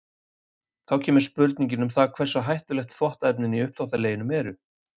Þá kemur spurningin um það hversu hættuleg þvottaefnin í uppþvottaleginum eru.